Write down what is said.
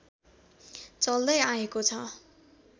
चल्दै आएको छ